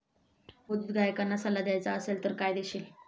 नवोदित गायकांना सल्ला द्यायचा असेल तर काय देशील?